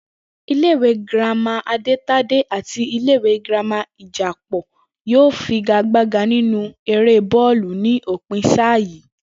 Ilé ìwé girama Adétadé àti ilé ìwé girama Ìjàpò yóò figagbága nínú eré bó̩ò̩lù ní òpin sáà yìí